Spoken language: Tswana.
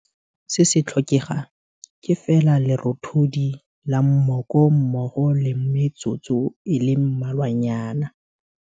Se se tlhokegang ke fela lerothodi la mmoko mmogo le metsotso e le mmalwanyana.